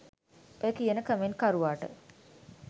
ඔය කියන කමෙන්ට්කරුවාට